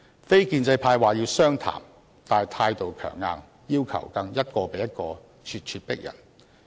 非建制派說要商談，但態度強硬，要求更一個比一個咄咄逼人。